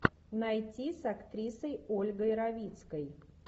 найти с актрисой ольгой равицкой